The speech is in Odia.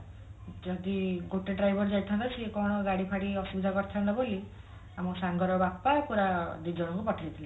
ଯଦି ଗୋଟେ driver ଯାଇଥାନ୍ତା ସିଏ କଣ ଗାଡି ଫାଡି ଅସୁବିଧା କରିଥାନ୍ତା ବୋଲି ଆମ ସାଙ୍ଗ ର ବାପା ପୁରା ଦି ଜଣଙ୍କୁ ପଠେଇ ଥିଲେ